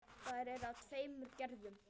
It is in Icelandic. Þær eru af tveimur gerðum.